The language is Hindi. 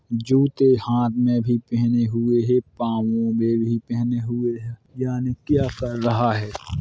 जूते हाथ में भी पहनेे हुए है पांवो में भी पहनेे हुए है यानी क्या कर रहा है ?